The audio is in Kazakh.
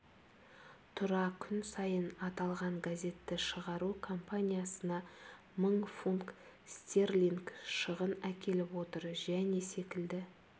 тұра күн сайын аталған газетті шығару компаниясына мың фунт стерлинг шығын әкеліп отыр және секілді